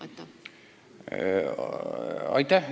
Aitäh!